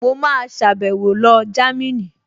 Mo máa sàbẹ̀wo lọ Jámínì